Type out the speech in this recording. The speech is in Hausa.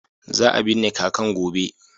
Za a binne kakan gobe.